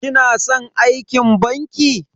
Kina san aikin banki?